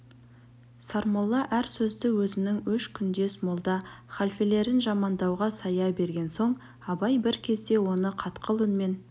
сармолла әр сөзді өзінің өш күндес молда халфелерін жамандауға сая берген соң абай бір кезде оны қатқыл үнмен